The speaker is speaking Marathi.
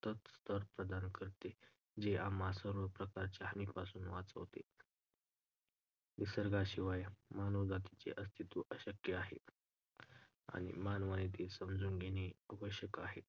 स्तर प्रदान करते जे आम्हाला सर्व प्रकारच्या हानीपासून वाचवते. निसर्गाशिवाय मानवजातीचे अस्तित्व अशक्य आहे आणि मानवान ते समजून घेणे आवश्यक आहे.